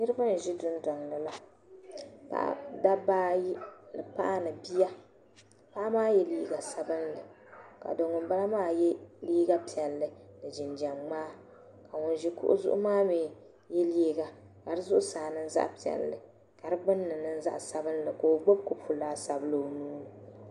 niriba n-ʒi dundɔŋ ni la dabba ayi ni paɣa ni bia paɣa maa ye liiga sabinlli ka do' ŋunmbala maa ye liiga piɛlli ni jinjam ŋmaa ka ŋun ʒi kuɣu zuɣu maa mi ye liiga ka di zuɣusaa niŋ zaɣ' piɛlli ka di gbinni niŋ zaɣ' sabinlli ka o gbibi kopu laasabu o nuuni